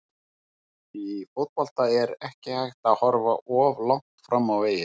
Í fótbolta er ekki hægt að horfa of langt fram á veginn.